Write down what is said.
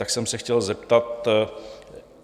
Tak jsem se chtěl zeptat,